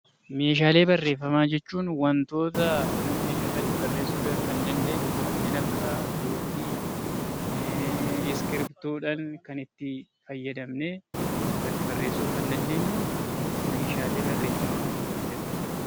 Meeshaalee Barreeffamaa jechuun wantoota nuti irratti barreessuu kan dandeenyu kanneen akka Luukii, Iskiriptoo dhaan kan itti fayyadamnee irratti barreessuu kan dandeenyu 'Meeshaslee Barreeffamaa' jedhama.